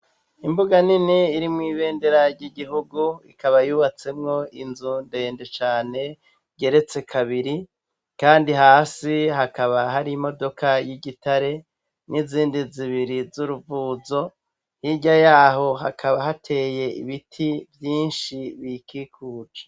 Imbuga nini irimw'ibendera ry'igihugu ikaba yubatsemwo inzu ndende cane ryeretse kabiri, kandi hasi hakaba hari imodoka y'igitare n'izindi zibiri z'uruvuzo hirya yaho hakaba hateye ibiti vyinshi bikikuje.